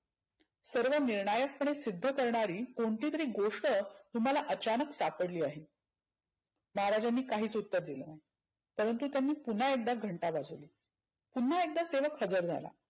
सर्व निर्णायक पणे सिद्ध करणारी कोणती तरी गोष्ट तुम्हाला अचानक सापडली आहे. महाराजांनी काहीच उत्तर दिलं नाही. परंतु त्यांनी पुन्हा एकदा घंटा वाजवली. पुन्हा एकदा सेवक हजर झाला.